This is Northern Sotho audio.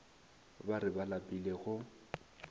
ba re ba lapile go